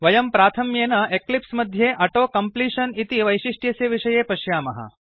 वयं प्राथम्येन एक्लिप्स मध्ये औतो कम्प्लीशन इति वैषिष्ट्यस्य विषये पश्यामः